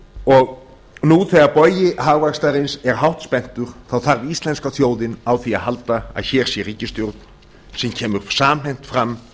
og nú þegar bogi hagvaxtarins er hátt spenntur þarf íslenska þjóðin á því að halda að hér sé ríkisstjórn sem kemur samhent fram